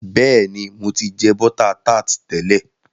béèni, mọ tí jẹ bota tart tẹlẹ.